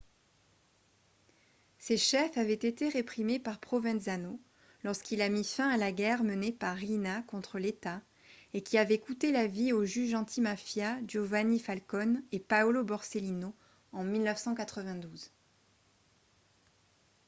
ces chefs avaient été réprimés par provenzano lorsqu'il a mis fin à la guerre menée par riina contre l'état et qui avait coûté la vie aux juges antimafia giovanni falcone et paolo borsellino en 1992